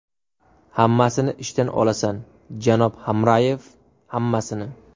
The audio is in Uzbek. Hammasini ishdan olasan, janob Hamrayev, hammasini.